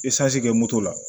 kɛ moto la